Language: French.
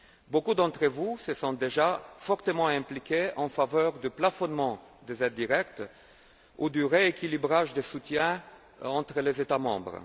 Beaucoup d'entre vous se sont déjà fortement impliqués en faveur du plafonnement des aides directes ou du rééquilibrage des soutiens entre les États membres.